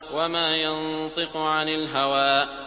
وَمَا يَنطِقُ عَنِ الْهَوَىٰ